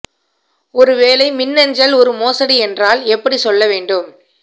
ஒரு வேலை மின்னஞ்சல் ஒரு மோசடி என்றால் எப்படி சொல்ல வேண்டும்